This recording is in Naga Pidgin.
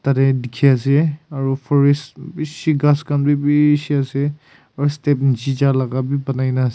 yete dikhi ase aro forest bishii ghas khan bi bishiii ase aro step niche ja laka bi buna na ase--